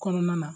Kɔnɔna na